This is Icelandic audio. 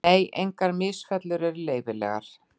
Nei, engar misfellur eru leyfilegar.